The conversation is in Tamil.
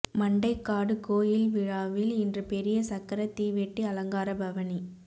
மண்டைக்காடு கோயில் விழாவில் இன்று பெரிய சக்கர தீவெட்டி அலங்கார பவனி